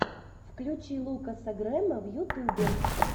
включи лукаса грэма в ютубе